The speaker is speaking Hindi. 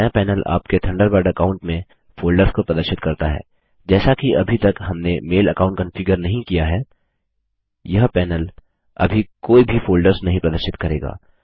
बायाँ पैनल आपके थंडरबर्ड अकाऊंट में फ़ोल्डर्स को प्रदर्शित करता है जैसा कि अभी तक हमने मेल अकाऊंट कॉन्फ़िगर नहीं किया है यह पैनल अभी कोई भी फ़ोल्डर्स नहीं प्रदर्शित करेगा